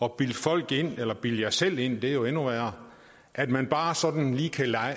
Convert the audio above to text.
at bilde folk ind eller bilde jer selv ind for det er jo endnu værre at man bare sådan lige kan